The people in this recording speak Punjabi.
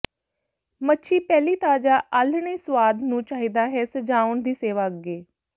ਮੱਛੀ ਪਹਿਲੀ ਤਾਜ਼ਾ ਆਲ੍ਹਣੇ ਸੁਆਦ ਨੂੰ ਚਾਹੀਦਾ ਹੈ ਸਜਾਉਣ ਦੀ ਸੇਵਾ ਅੱਗੇ